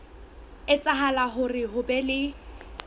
etsahala hore ho be le